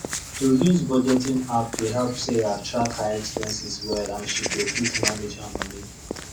to use budgeting app dey help sarah track her expenses well and she go fit manage her money